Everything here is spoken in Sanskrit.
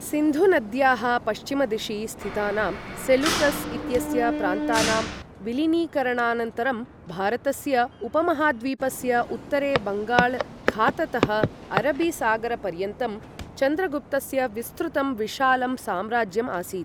सिन्धुनद्याः पश्चिमदिशि स्थितानां सेलूकस् इत्यस्य प्रान्तानां विलीनीकरणानन्तरं, भारतस्य उपमहाद्वीपस्य उत्तरे बङ्गाल खाततः अरबीसागरपर्यन्तं चन्द्रगुप्तस्य विस्तृतं विशालं साम्राज्यम् आसीत्।